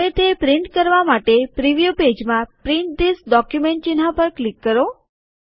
હવે તે પ્રિન્ટ કરવા માટે પ્રિવ્યુ પેજમાં પ્રિન્ટ ધીઝ ડોક્યુમેન્ટ ચિહ્ન પર ક્લિક કરો